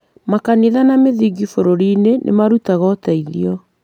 Makanitha na mĩthigiti bũrũri-inĩ nĩ marutaga ũteithio